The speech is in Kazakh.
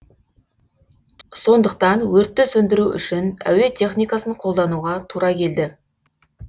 сондықтан өртті сөндіру үшін әуе техникасын қолдануға тура келді